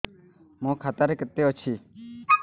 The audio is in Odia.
ମୋ ଖାତା ରେ କେତେ ଅଛି